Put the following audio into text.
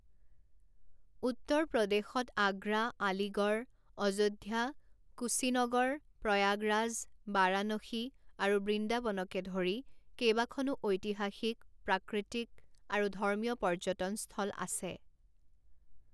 উত্তৰ প্ৰদেশতআগ্ৰা, আলিগড়, অযোধ্যা, কুশীনগৰ, প্ৰয়াগৰাজ, বাৰাণসী আৰু বৃন্দাবনকে ধৰি কেইবাখনো ঐতিহাসিক, প্ৰাকৃতিক আৰু ধৰ্মীয় পৰ্যটন স্থল আছে।